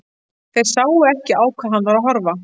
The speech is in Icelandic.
Þeir sáu ekki á hvað hann var að horfa.